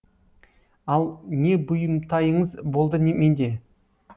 ал не бұйымтайыңыз болды менде